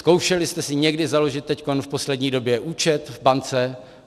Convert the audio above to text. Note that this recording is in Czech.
Zkoušeli jste si někdy založit teď v poslední době účet v bance?